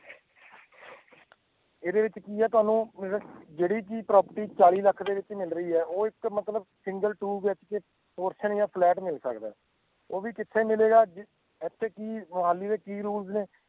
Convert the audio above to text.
ਇਹਦੇ ਵਿੱਚ ਕੀ ਹੈ ਤੁਹਾਨੂੰ ਮਤਲਬ ਜਿਹੜੀ ਕਿ property ਚਾਲੀ ਲੱਖ ਦੇ ਵਿੱਚ ਮਿਲ ਰਹੀ ਹੈ ਉਹ ਇੱਕ ਮਤਲਬ single 2BHK ਫਲੈਟ ਮਿਲ ਸਕਦਾ ਹੈ, ਉਹ ਵੀ ਕਿੱਥੇ ਮਿਲੇਗਾ, ਜਿੱ~ ਇੱਥੇ ਕਿ ਮੁਹਾਲੀ ਦੇ ਕੀ rules ਨੇ